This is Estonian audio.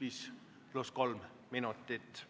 5 + 3 minutit.